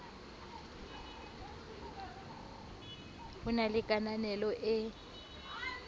ho na le kananelo e